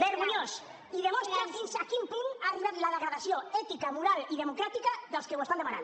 vergonyós i demostra fins a quin punt ha arribat la degradació ètica moral i democràtica dels que ho estan demanant